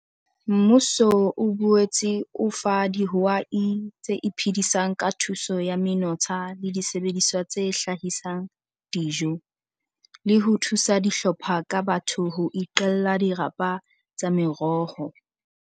Mmuso o boetse o fa dihwai tse iphedisang ka thuso ya menotsha le disebediswa tse hlahisang dijo, le ho thusa dihlopha ka batho ho iqella dirapa tsa meroho.